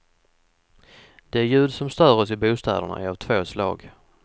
De ljud som stör oss i bostäderna är av två slag.